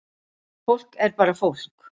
Fólk er bara fólk